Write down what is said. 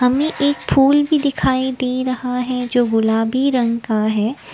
एक फूल भी दिखाई दे रहा है जो गुलाबी रंग का है।